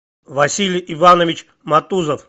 василий иванович матузов